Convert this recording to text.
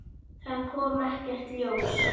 Það kom ekkert ljós.